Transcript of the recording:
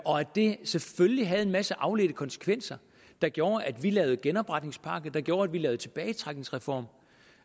og at det selvfølgelig havde en masse afledte konsekvenser der gjorde at vi lavede genopretningspakke der gjorde at vi lavede tilbagetrækningsreform